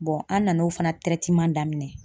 an nan'o fana daminɛ.